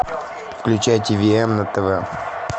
включай ти ви эм на тв